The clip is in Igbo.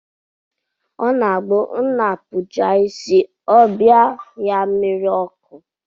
Ọ na-abụ nna kpuchaa isi, ọ bịa ya mmiri ọkụ